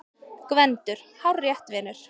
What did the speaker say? GVENDUR: Hárrétt, vinur!